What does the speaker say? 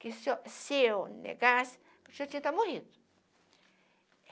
que se eu se eu negasse, eu já tinha até morrido.